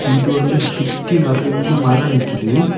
இது வந்து சுத்தி நெறைய மரம் நிக்குது.